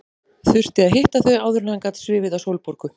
Þurfti að hitta þau áður en hann gat svifið á Sólborgu.